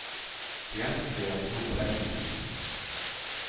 De har inte spelat ihop länge.